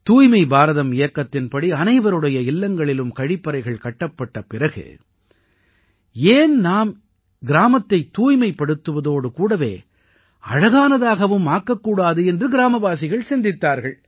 தூய்மை பாரதம் இயக்கத்தின்படி அனைவருடைய இல்லங்களிலும் கழிப்பறைகள் கட்டப்பட்ட பிறகு ஏன் நாம் கிராமத்தைத் தூய்மைப்படுத்துவதோடு கூடவே அழகானதாகவும் ஆக்கக் கூடாது என்று கிராமவாசிகள் சிந்தித்தார்கள்